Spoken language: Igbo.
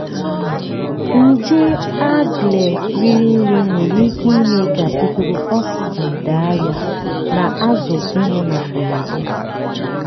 nje algae riri nne nwere ike ime ka ikuku oxygen daa ya na azụ ịnwụ na mberede.